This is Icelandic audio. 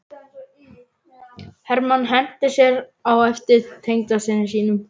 Hermann henti sér á eftir tengdasyni sínum.